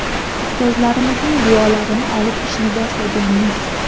Ustozlarimizning duolarini olib ishni boshlaganmiz.